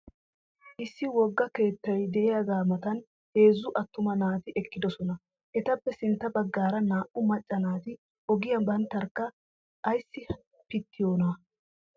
Issi wogga keettay diyagaa matan heezzu attuma naati eqqidosona. Etappe sintta baggaara naa" u macca naati ogiya banttarkka ayissi pittiyoonaa?